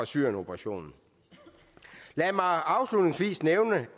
syrienoperationen lad mig afslutningsvis nævne